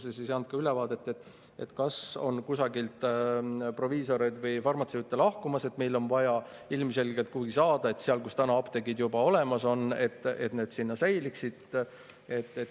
Me ei saanud ka ülevaadet, kas kusagilt on proviisorid või farmatseudid lahkumas, meil oleks vaja neid ilmselgelt kuhugi saada, et seal, kus apteegid juba olemas on, need säiliksid.